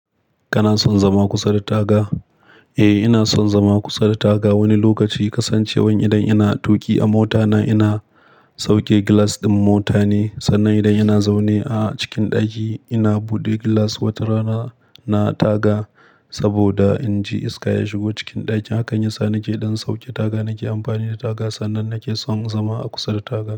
Kana son zama kusa da taga? Eh, ina son zama kusa da taga. Wani lokaci kasancewan idan ina tuƙi a motana ina sauke glass ɗin mota ne, sannan idan ina zaune a cikin ɗaki ina buɗe glass wata rana na taga. Saboda in ji iska ya shigo cikin ɗakin, hakan yasa nake ɗan sauke taga. Nake amfani da taga sannan nake son zama a kusa da taga.